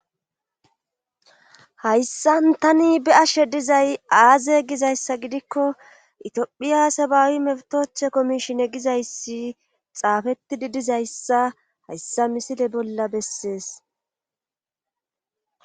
hayssan tani bi ashe dizay aaze gizayssa gidikko itiphiya sabaawi meftothe komishine gizayssi xaafettidi dizayssa hayssa misile bolla bessees